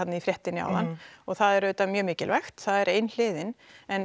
í fréttinni áðan og það er auðvitað mjög mikilvægt það er ein hliðin